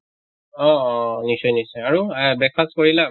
অহ অহ নিশ্চয় নিশ্চয় আৰু এহ breakfast কৰিলা?